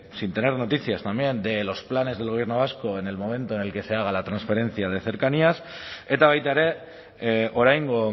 sin tener noticias también de los planes del gobierno vasco en el momento en el que se haga la transferencia de cercanías eta baita ere oraingo